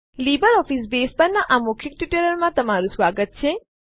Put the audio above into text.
LibreOffice Base પરના આ મૌખિક ટ્યુટોરીયલમાં તમારું સ્વાગત છે